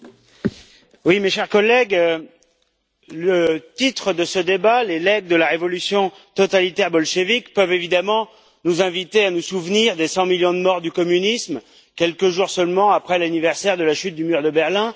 Monsieur le Président, mes chers collègues, le titre de ce débat, Les legs de la révolution totalitaire bolchévique peut évidemment nous inviter à nous souvenir des 100 millions de morts du communisme quelques jours seulement après l'anniversaire de la chute du mur de Berlin.